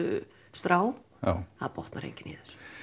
strá það botnar enginn í